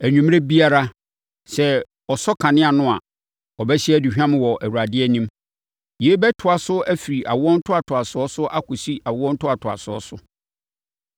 Anwummerɛ biara, sɛ ɔsɔ kanea no a, ɔbɛhye aduhwam wɔ Awurade anim. Yei bɛtoa so firi awoɔ ntoatoasoɔ so akɔsi awo ntoatoasoɔ so.